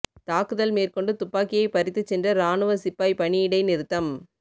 தாக்குதல் மேற்கொண்டு துப்பாக்கியை பறித்துச் சென்ற இராணுவ சிப்பாய் பணி இடை நிறுத்தம்